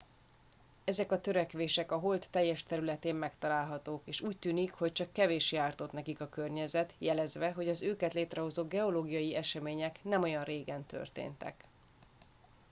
ezek a törések a hold teljes területén megtalálhatók és úgy tűnik hogy csak kevéssé ártott nekik a környezet jelezve hogy az őket létrehozó geológiai események nem olyan régen történtek